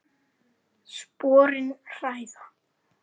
Sporin hræða.